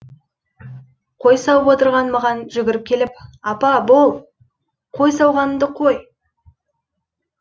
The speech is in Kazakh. қой сауып отырған маған жүгіріп келіп апа бол қой сауғанынды қой